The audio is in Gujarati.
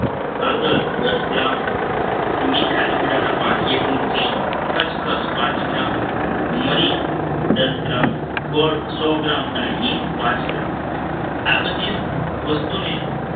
હળદર દસ ગ્રામ મીઠા લીમડાના પાન એક મુઠ્ઠી ખસખસ પાંચ ગ્રામ મરી દસ ગ્રામ ગોળ સો ગ્રામ અને હિંગ પાંચ ગ્રામ આ બધી જ વસ્તુને